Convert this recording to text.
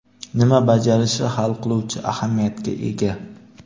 nima bajarishi hal qiluvchi ahamiyatga ega.